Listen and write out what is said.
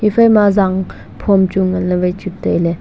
iphai ma zang phom chu ngan ley wai chu tailey.